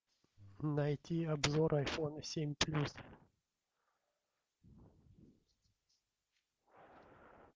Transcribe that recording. найти обзор айфона семь плюс